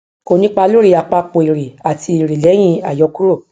kò nípá lóri àpapọ èrè àti èrè lẹyìn àyọkúrò